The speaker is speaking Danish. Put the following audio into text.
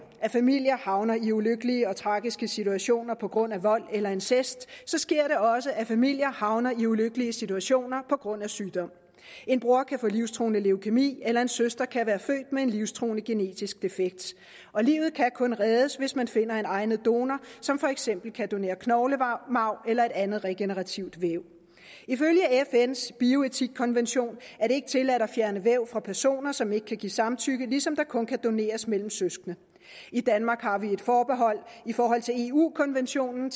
at familier havner i ulykkelige og tragiske situationer på grund af vold eller incest sker det også at familier havner i ulykkelige situationer på grund af sygdom en bror kan få livstruende leukæmi eller en søster kan være født med en livstruende genetisk defekt og livet kan kun reddes hvis man finder en egnet donor som for eksempel kan donere knoglemarv eller et andet regenerativt væv ifølge fns bioetikkonvention er det ikke tilladt at fjerne væv fra personer som ikke kan give samtykke ligesom der kun kan doneres mellem søskende i danmark har vi et forbehold i forhold til eu konventionen